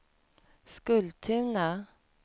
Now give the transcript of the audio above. Skultuna